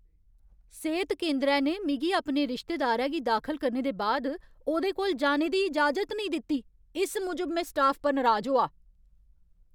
सेह्त केंदरै ने मिगी अपने रिश्तेदारै गी दाखल करने दे बाद ओह्दे कोल जाने दी इजाजत नेईं दित्ती। इस मूजब में स्टाफ पर नराज होआ ।